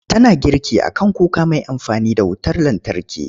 Tana girki a kan kuka mai amfani da wutar lantarki.